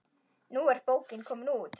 Nú er bókin komin út.